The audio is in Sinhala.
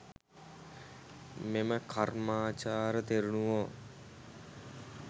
මෙම කර්මාචාර තෙරණුවෝ